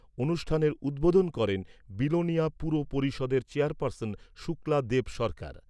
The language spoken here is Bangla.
অনুষ্ঠানের উদ্বোধন করেন বিলোনিয়া পুর পরিষদের চেয়ারপার্সন শুক্লা দেব সরকার।